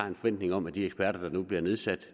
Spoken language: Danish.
en forventning om at de eksperter der nu bliver nedsat